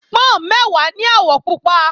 Pọ́n mẹ́wàá ní àwọ̀ pupa